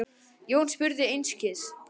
Jón spurði einskis.